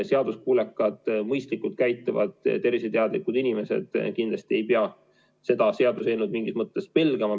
Seaduskuulekad, mõistlikult käituvad, terviseteadlikud inimesed kindlasti ei pea seda seaduseelnõu mingis mõttes pelgama.